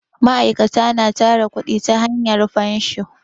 ma'aikata na tara kudi ta hanya fansho